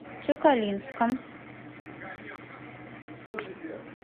тюкалинском